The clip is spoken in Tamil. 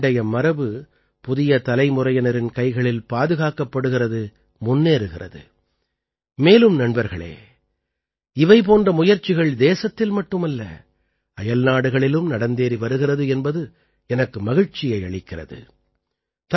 அதாவது பண்டைய மரபு புதிய தலைமுறையினரின் கைகளில் பாதுகாக்கப்படுகிறது முன்னேறுகிறது மேலும் நண்பர்களே இவை போன்ற முயற்சிகள் தேசத்தில் மட்டுமல்ல அயல்நாடுகளிலும் நடந்தேறி வருகிறது என்பது எனக்கு மகிழ்ச்சியை அளிக்கிறது